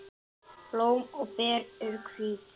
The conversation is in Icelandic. Blóm og ber eru hvít.